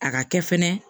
A ka kɛ fɛnɛ